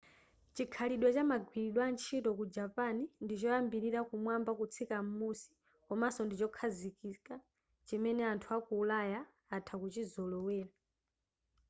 chikhalidwe cha magwiridwe a ntchito ku japan ndi choyambira kumwamba kutsika m'musi komaso ndichokhazikika chimene anthu aku ulaya atha kuchizolowera